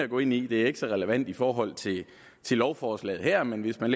gå ind i det er ikke så relevant i forhold til til lovforslaget her men hvis man